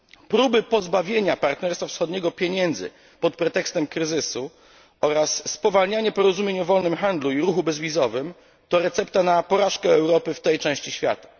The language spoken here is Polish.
Próby pozbawienia partnerstwa wschodniego pieniędzy pod pretekstem kryzysu oraz spowolnianie porozumień o wolnym handlu i ruchu bezwizowym, to recepta na porażkę Europy w tej części świata.